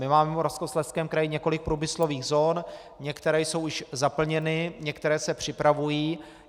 My máme v Moravskoslezském kraji několik průmyslových zón, některé jsou již zaplněny, některé se připravují.